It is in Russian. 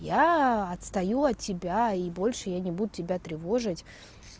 я отстаю от тебя и больше я не буду тебя тревожить